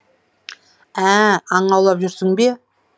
ә аң аулап жүрсің бе